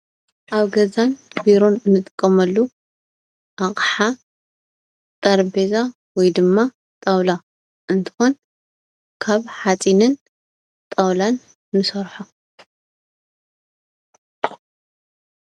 ኣብ ገዛን ቢሮን ንጥቀመሉ ኣቕሓ ጠረጼዛ ወይ ድማ ጣውላ እንትኾን ካብ ሓፂንን ጣውላን ንሰርሖ፡፡